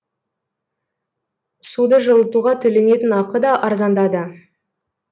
суды жылытуға төленетін ақы да арзандады